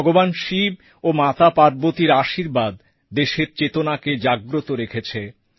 ভগবান শিব ও মাতা পার্বতীর আশীর্বাদ দেশের চেতনাতে জাগ্রত রেখেছে